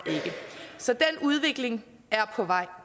så den udvikling er på vej